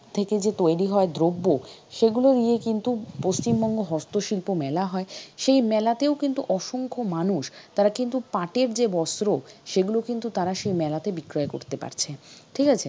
থেকে যে তৈরি হয় দ্রব্য সেগুলো নিয়ে কিন্তু পশ্চিমবঙ্গ হস্তশিল্প মেলা হয়। সেই মেলাতেও কিন্তু অসংখ্য মানুষ তারা কিন্তু পাটের যে বস্ত্র সেগুলো কিন্তু তারা সেই মেলাতে বিক্রয় করতে পারছে। ঠিক আছে?